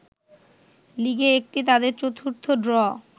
লিগে এটি তাদের চতুর্থ ড্র